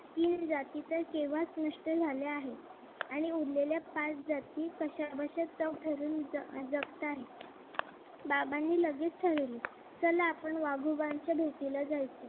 तीन जाती तर केव्हा स्पष्ट झाले आहे आणि उरलेल्या पाच जाती कश्या बश्या तग धरून जगत आहेत. बाबानी लगेच ठरवले चला आपण वाघोबांच्या भेटीला जायचं.